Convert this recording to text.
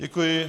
Děkuji.